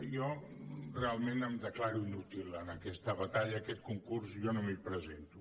jo realment em declaro inútil en aquesta batalla a aquest concurs jo no m’hi presento